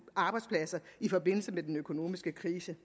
arbejdspladser i forbindelse med den økonomiske krise